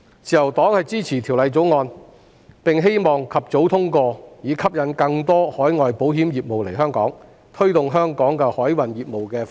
自由黨支持《條例草案》，並希望及早通過《條例草案》，以吸引更多海外保險公司來港發展，並推動香港海運業務發展。